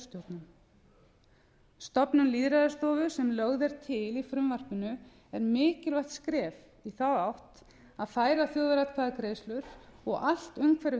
kjörstjórnum stofnun lýðræðisstofu sem lögð er til í frumvarpinu er mikilvægt skref í þá átt að færa þjóðaratkvæðagreiðslur og allt umhverfi